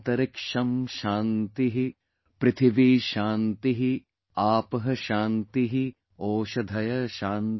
पृथिवी शान्तिः आपः शान्तिः ओषधयः शान्तिः |